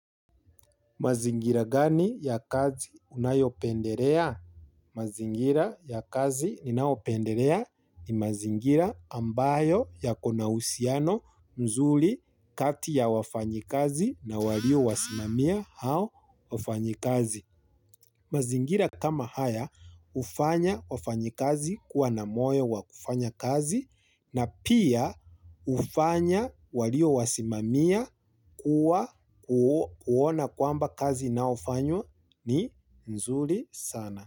Mazingira gani ya kazi unayopenderea? Mazingira ya kazi ninaopenderea ni mazingira ambayo yakona usiano mzuli kati ya wafanyikazi na walio wasimamia hao wafanyikazi. Mazingira kama haya ufanya wafanyi kazi kuwa na moyo wa kufanya kazi na pia ufanya walio wasimamia kuwa kuona kwamba kazi inaofanywa ni nzuri sana.